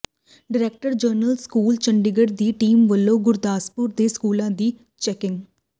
director general schools Chandigarh ਦੀ team ਵੱਲੋਂ ਗੁਰਦਾਸਪੁਰ ਦੇ ਸਕੂਲਾਂ ਦੀ ਚੈਕਿੰਗ